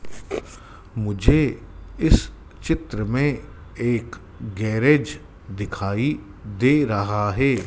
मुझे इस चित्र में एक गैरेज दिखाई दे रहा है।